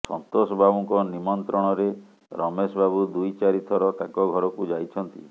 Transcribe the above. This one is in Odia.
ସନ୍ତୋଷ ବାବୁଙ୍କ ନିମନ୍ତ୍ରଣରେ ରମେଶ ବାବୁ ଦୁଇ ଚାରିଥର ତାଙ୍କ ଘରକୁ ଯାଇଛନ୍ତି